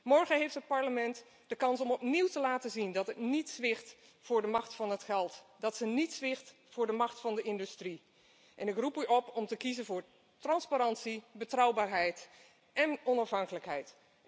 is. Morgen heeft het Parlement de kans om opnieuw te laten zien dat het niet zwicht voor de macht van het geld, dat het niet zwicht voor de macht van de industrie. Ik roep u op om te kiezen voor transparantie, betrouwbaarheid en onafhankelijkheid.